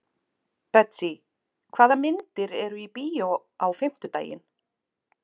Betsý, hvaða myndir eru í bíó á fimmtudaginn?